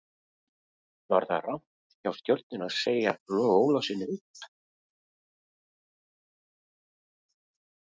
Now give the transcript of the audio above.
Var það rangt hjá Stjörnunni að segja Loga Ólafssyni upp?